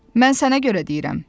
Mən sənə görə deyirəm.